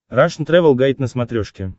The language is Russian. рашн тревел гайд на смотрешке